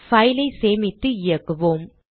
file ஐ சேமித்து இயக்குவோம்